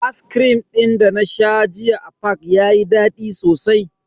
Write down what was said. Ascrim din dana sha jiya a fak yayi dadi sosai.